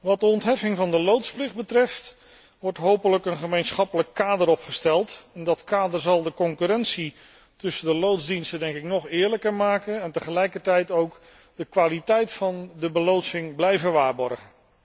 Wat de ontheffing van de loodsplicht betreft, wordt hopelijk een gemeenschappelijk kader opgesteld en dat kader zal de concurrentie tussen de loodsdiensten nog eerlijker maken en tegelijkertijd ook de kwaliteit van de beloodsing blijven waarborgen.